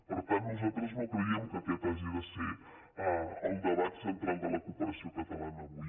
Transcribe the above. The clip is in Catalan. per tant nosaltres no creiem que aquest hagi de ser el debat central de la cooperació catalana avui